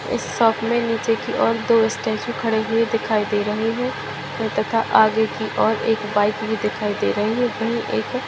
इस शॉप में नीचे की और दो स्टेचू खड़े हुए दिखाई दे रहे हैं तथा आगे की और एक बाइक भी दिखाई दे रही हैं वही एक --